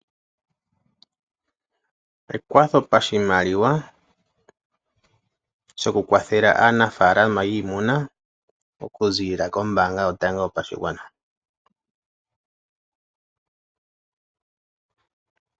Ekwatho lyopashimaliwa shokukwathela aanafalama yiimuna, okuzilila kombaanga yotango yopashigwana.